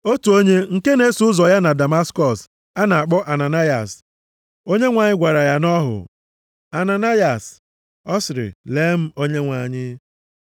Otu onye nke na-eso ụzọ ya nọ na Damaskọs, a na-akpọ Ananayas. Onyenwe anyị gwara ya nʼọhụ, “Ananayas!” Ọ sịrị, “Lee m, Onyenwe anyị.”